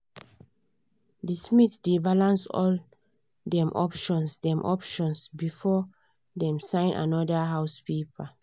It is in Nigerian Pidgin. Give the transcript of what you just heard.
the smith dey balance all dem options dem options before dem sign another house paper.